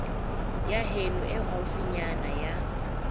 ya heno e haufinyana ya